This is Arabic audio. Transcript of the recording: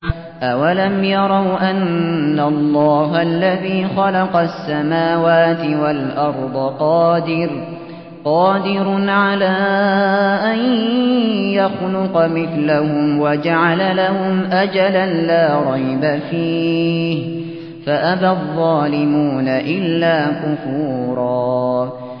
۞ أَوَلَمْ يَرَوْا أَنَّ اللَّهَ الَّذِي خَلَقَ السَّمَاوَاتِ وَالْأَرْضَ قَادِرٌ عَلَىٰ أَن يَخْلُقَ مِثْلَهُمْ وَجَعَلَ لَهُمْ أَجَلًا لَّا رَيْبَ فِيهِ فَأَبَى الظَّالِمُونَ إِلَّا كُفُورًا